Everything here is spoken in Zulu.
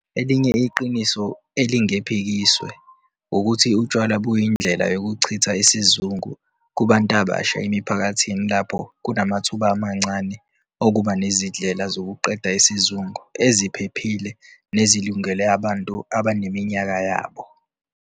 Elinye iqiniso elingephikiswe wukuthi utshwala buyindlela yokuchitha isizungu kubantu abasha emiphakathini lapho kunamathuba amancane okuba nezindlela zokuqeda isizungu eziphephile nezilungele abantu abaneminyaka yabo.